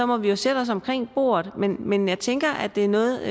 må jo sætte os omkring bordet men men jeg tænker at det er noget